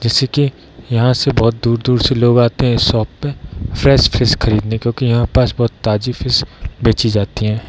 जैसे की यहाँ से बहुत दूर-दूर से लोग आते हैं इस शॉप पे फ्रेश फिश खरीदने क्यूंकि यहाँ पास बहुत ताज़ी फिश बैची जाती है।